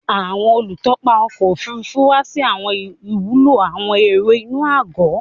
Awọn olutọpa ọkọ ofurufu wa si awọn iwulo awọn ero inu agọ